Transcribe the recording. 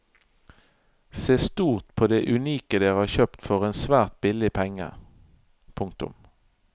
Se stort på det unike dere har kjøpt for en svært billig penge. punktum